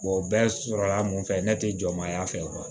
o bɛɛ sɔrɔla mun fɛ ne tɛ jɔmaya fɛ